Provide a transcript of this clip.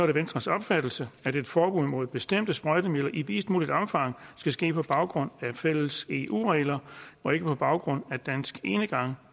det venstres opfattelse at et forbud mod bestemte sprøjtemidler i videst muligt omfang skal ske på baggrund af fælles eu regler og ikke på baggrund af dansk enegang